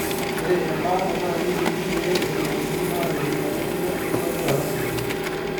ore ebaata naa keyieng'I pee etumokini aatipik elukunya enkitobirata sidai.